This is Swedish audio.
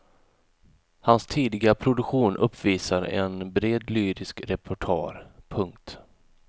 Hans tidiga produktion uppvisar en bred lyrisk repertoar. punkt